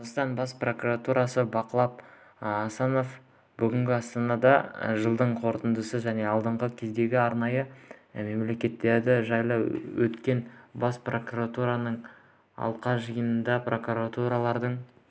қазақстан бас прокуроры жақып асанов бүгін астанада жылдың қорытындысы және алдағы кезеңге арналған міндеттері жайлы өткен бас прокуратураның алқа жиынында прокурорлардың